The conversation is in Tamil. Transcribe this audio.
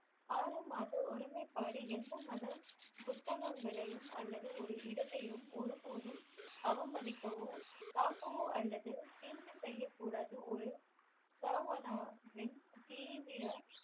ஆறு மாத ஒருமைப்பாடு எந்த மத புத்தகங்களையும் அல்லது ஒரு இடத்தையும் ஒரு போதும் அவமதிக்கோ பாக்கவோ அல்லது தீங்கு செய்ய கூடாது ஒரு சாமனவின் தீவிர